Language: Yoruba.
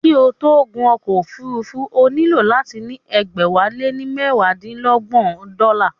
Kí o tó gun ọkọ̀ òfúrufú, o nílò láti ní ẹgbẹ̀wálénímẹwadínígba dọ́là